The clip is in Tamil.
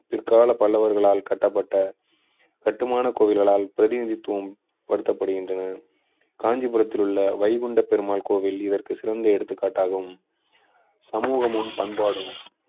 பிற்கால பல்லவர்களால் கட்டப்பட்ட கட்டுமான கோவில்களால் பிரதிநிதித்துவம் படுத்தப்படுகின்றன காஞ்சிபுரத்தில் உள்ள வைகுண்ட பெருமாள் கோவில் இதற்கு சிறந்த எடுத்துக்காட்டாகும் சமூகமும் பண்பாடும்